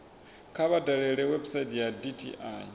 kha vha dalele website ya dti